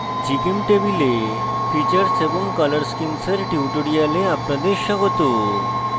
নমস্কার gchemtable এ features features এবং color schemes color schemes এর tutorial আপনাদের স্বাগত